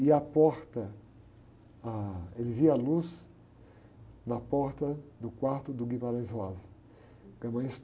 E a porta, ah, ele via a luz na porta do quarto do Guimarães Rosa.